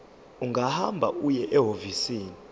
ungahamba uye ehhovisi